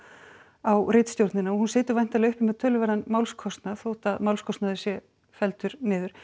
á ritstjórnina og hún situr væntanlega uppi með töluverðan málskostnað þótt að málskostnaður sé felldur niður